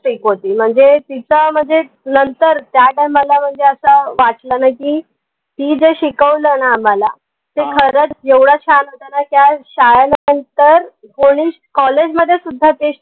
strict होती म्हनजे तिच्या म्हनजे नंतर त्या time ला म्हनजे असा वाटलं नाई की ती जे शिकवलं ना आम्हाला खरंच एवढं छान होत ना के शाळे नंतर कोणी College मध्ये सुद्धा ते